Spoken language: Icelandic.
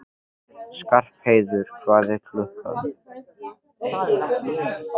Skarpheiður, hvað er klukkan?